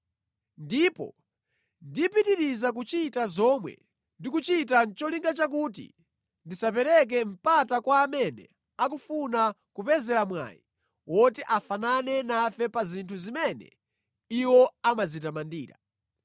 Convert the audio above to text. Ndipo ndipitiriza kuchita zomwe ndikuchitazi nʼcholinga chakuti ndisapereke mpata kwa amene akufuna kupezera mwayi woti afanane nafe pa zinthu zimene iwowo amadzitamandira.